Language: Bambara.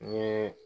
Ni